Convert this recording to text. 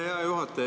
Hea juhataja!